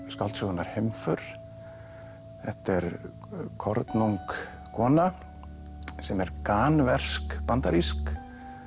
skáldsögunnar heimför þetta er kornung kona sem er bandarísk